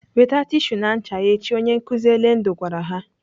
"Weta tishu na ncha echi!" Onye nkụzi Elendu gwara ha.